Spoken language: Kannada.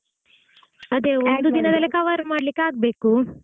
ಅದೇ ಒಂದು ದಿನದಲ್ಲಿ cover ಮಾಡಲಿಕ್ಕೆ ಆಗಬೇಕು.